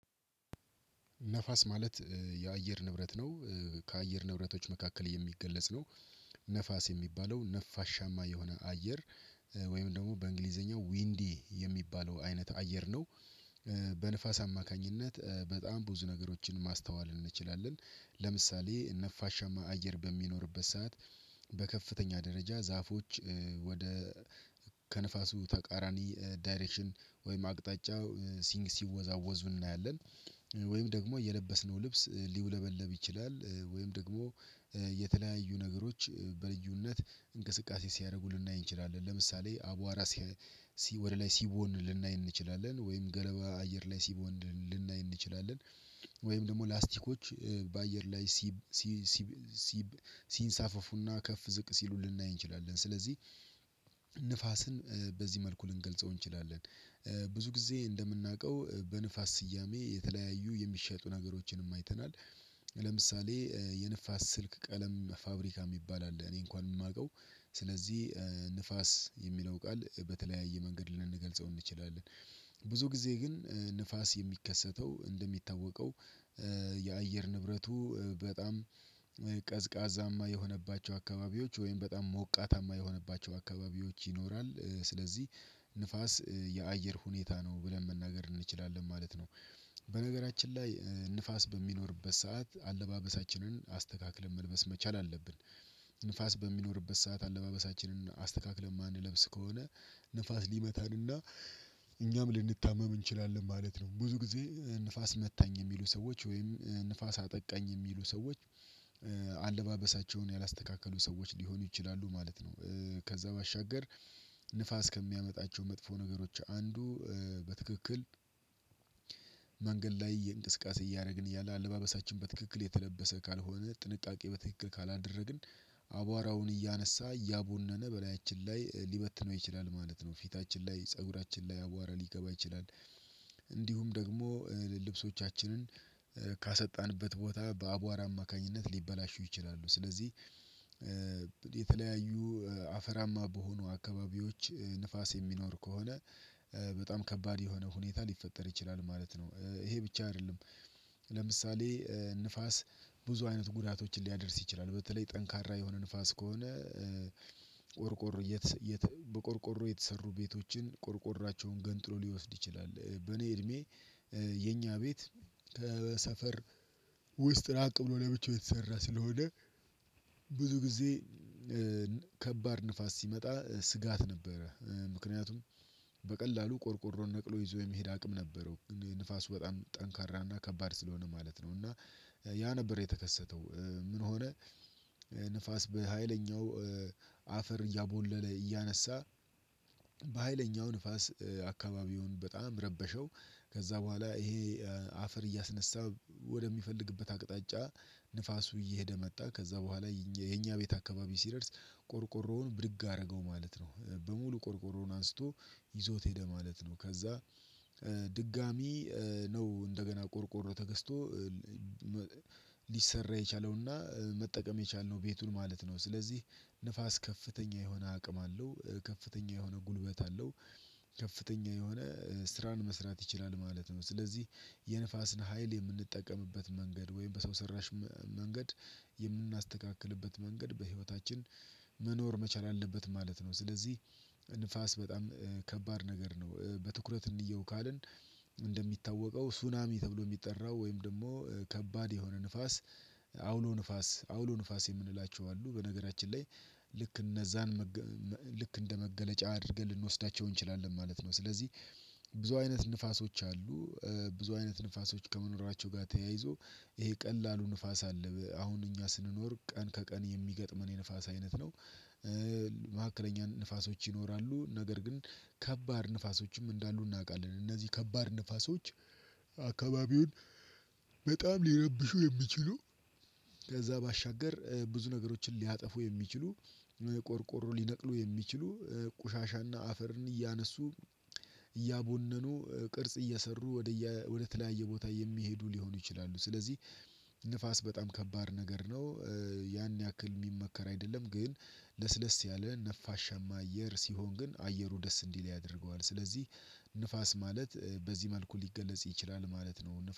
ንፋስ ማለት የአየር ንብረት ነው ከአየር ንብረቶች መካከል የሚገለጽ ነው። ንፋስ የሚባለው ነፋሻማ የሆነ አየር ወይም ደግሞ በእንግሊዘኛው ዊንዲ የሚባለው አይነት አየር ነው። በንፋስ አማካኝነት በጣም ብዙ ነገሮችን ማስተዋል እንችላለን ለምሳሌ ነፋሻማ አየር በሚኖርበት ሰዓት በከፍተኛ ደረጃ ዛፎች ወደ ከንፋሱ ተቃራኒ ዳይሬክሽን ወይም አቅጣጫ ሲንግ ሲወዛወዙ እናያለን። ወይም ደግሞ የለበስነው ልብስ ሊውለበለብ ይችላል ወይም ደግሞ የተለያዩ ነገሮች በልዩነት እንቅስቃሴ ሲያደርጉ ልናይ እንችላለን ለምሳሌ አቧራ ሲ ወደ ላይ ሲቦን ልናይ እንችላለን ወይም ገለባ አየር ላይ ሲቦን ልናይ እንችላለን። ወይም ደግሞ ላስቲኮች በአየር ላይ ሲብ ሲ ሲብ ሲብ ሲንሳፈፉ እና ከፍ ዝቅ ሲሉ ልናይ እንችላለን ስለዚህ ንፋስን በዚህ መልኩ ልንገልጸው እንችላለን። ብዙ ጊዜ እንደምናውቀው በንፋስ ስያሜ የተለያዩ የሚሸጡ ነገሮችንም አይተናል። ለምሳሌ የንፋስ ስልክ ቀለም ፋብሪካ ሚባል አለ እኔ እንኳን እማውቀው ስለዚህ ንፋስ የሚለው ቃል በተለያየ መንገድ ልንገልጸው እንችላለን። ብዙ ጊዜ ግን ንፋስ የሚከሰተው እንደሚታወቀው የአየር ንብረቱ በጣም ቀዝቃዛማ የሆነባቸው አካባቢዎች ወይም በጣም ሞቃታማ የሆነባቸው አካባቢዎች ይኖራል ስለዚህ ንፋስ የአየር ሁኔታ ነው ብለን መናገር እንችላለን ማለት ነው። በነገራችን ላይ ንፋስ በሚኖርበት ሰዓት አለባበሳችንን አስተካክለን መልበስ መቻል አለብን ንፋስ በሚኖርበት ሰዓት አለባበሳችንን አስተካክለን ማንለብስ ከሆነ ንፋስ ሊመታን እና እኛም ልንታመም እንችላለን ማለት ነው። ብዙ ጊዜ ንፋስ መታኝ የሚሉ ሰዎች ወይም ንፋስ አጠቃኝ የሚሉ ሰዎች አለባበሳቸውን ያላስተካከሉ ሰዎች ሊሆኑ ይችላሉ ማለት ነው። ከዛ ባሻገር ንፋስ ከሚያመጣቸው መጥፎ ነገሮች አንዱ በትክክል መንገድ ላይ እየን እንቅስቃሴ እያረግን እያለ አለባበሳችን በትክክል የተለበሰ ካልሆነ ጥንቃቄ በትክክል ካላደረግን አቧራውን እያነሳ እያቦነነ በላያችን ላይ ሊበትነው ይችላል ማለት ነው ፊታችን ላይ ፀጉራችን ላይ አቧራ ሊገባ ይችላል። እንዲሁም ደግሞ ልብሶቻችንን ካሰጣንበት ቦታ በአቧራ አማካኝነት ሊበላሹ ይችላሉ። ስለዚህ የተለያዩ አፈራማ በሆኑ አካባቢዎች ንፋስ የሚኖር ከሆነ በጣም ከባድ የሆነ ሁኔታ ሊፈጠር ይችላል ማለት ነው። ይሄ ብቻ አይደለም ለምሳሌ ንፋስ ብዙ አይነት ጉዳቶችን ሊያደርስ ይችላል በተለይ ጠንካራ የሆነ ንፋስ ከሆነ ቆርቆሮ የትስ የት በቆርቆሮ የተሰሩ ቤቶችን ቆርቆሯቸውን ገንጥሎ ሊወስድ ይችላል። በኔ እድሜ የኛ ቤት ከሰፈር ውስጥ ራቅ ብሎ ለብቻው የተሰራ ስለሆነ ብዙ ጊዜ ከባድ ንፋስ ሲመጣ ስጋት ነበረ ምክንያቱም በቀላሉ ቆርቆሮ ነቅሎ ይዞ የመሄድ አቅም ነበረው ግን ንፋሱ በጣም ጠንካራ እና ከባድ ስለሆነ ማለት ነው። እና ያ ነበር የተከሰተው ምን ሆነ? ንፋስ በሃይለኛው አፈር እያቦለለ እያነሳ በሃይለኛው ንፋስ አካባቢውን በጣም ረበሸው። ከዛ በኋላ ይሄ አፈር እያስነሳ ወደሚፈልግበት አቅጣጫ ንፋሱ እየሄደ መጣ ከዛ በኋላ የኝ የኛ ቤት አካባቢ ሲደርስ ቆርቆሮውን ብድግ አረገው ማለት ነው። በሙሉ ቆርቆሮውን አንስቶ ይዞት ሄደ ማለት ነው። ከዛ ድጋሚ ነው እንደገና ቆርቆሮ ተገዝቶ ሊሰራ የቻለው እና መጠቀም የቻልነው ቤቱን ማለት ነው። ስለዚህ ንፋስ ከፍተኛ የሆነ አቅም አለው ከፍተኛ የሆነ ጉልበት አለው ከፍተኛ የሆነ ስራን መስራት ይችላል ማለት ነው። ስለዚህ የንፋስን ሀይል የምንጠቀምበት መንገድ ወይም በሰው ሰራሽ መ መንገድ የምናስተካክልበት መንገድ በህይወታችን መኖር መቻል አለበት ማለት ነው። ስለዚህ ንፋስ በጣም ከባድ ነገር ነው በትኩረት እንየው ካልን እንደሚታወቀው ሱናሚ ተብሎ ሚጠራው ወይም ደግሞ ከባድ የሆነ ንፋስ አውሎ ንፋስ አውሎ ንፋስ የምንላቸው አሉ በነገራችን ላይ ልክ እነዛን መገ መ ልክ እንደመገለጫ አድርገን ልንወስዳቸው እንችላለን ማለት ነው። ስለዚህ ብዙ አይነት ንፋሶች አሉ ብዙ አይነት ንፋሶች ከመኖራቸው ጋር ተያይዞ ይሄ ቀላሉ ንፋስ አለ አሁን እኛ ስንኖር ቀን ከቀን የሚገጥመን የንፋስ አይነት ነው። መካከለኛ ንፋሶች ይኖራሉ ነገር ግን ከባድ ንፋሶችም እንዳሉ እናውቃለን። እነዚህ ከባድ ንፋሶች አካባቢውን በጣም ሊረብሹ የሚችሉ ከዛ ባሻገር ብዙ ነገሮችን ሊያጠፉ የሚችሉ ቆርቆሮ ሊነቅሉ የሚችሉ ቆሻሻ እና አፈርን እያነሱ እያቦነኑ ቅርጽ እየሰሩ ወደየ ወደ ተለያየ ቦታ የሚሄዱ ሊሆኑ ይችላሉ። ስለዚህ ንፋስ በጣም ከባድ ነገር ነው ያን ያክል ሚመከር አይደለም። ግን ለስለስ ያለ ነፋሻማ አየር ሲሆን ግን አየሩ ደስ እንዲል ያደርገዋል። ስለዚህ ንፋስ ማለት በዚህ መልኩ ሊገለጽ ይችላል ማለት ነው